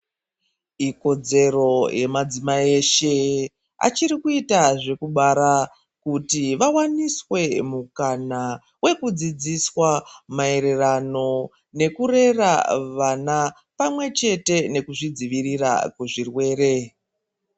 Ikodzero yemadzimai eshe achirikuita zvekubara kuti vawaniswe mukana wekudzidziswa mayererano nekurera vana pamwechete nekuzvidzivirira nezvirwere.